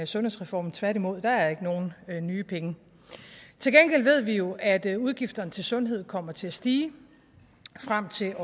sundhedsreform tværtimod der er ikke nogen nye penge til gengæld ved vi jo at udgifterne til sundhed kommer til at stige frem til